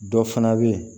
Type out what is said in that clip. Dɔ fana bɛ yen